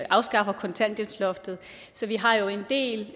afskaffer kontanthjælpsloftet så vi har jo en del